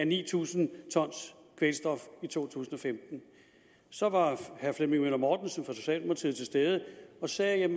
ni tusind t kvælstof i to tusind og femten herre flemming møller mortensen fra socialdemokratiet var til stede og sagde at